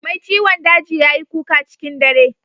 Mai ciwon daji ya yi kuka cikin dare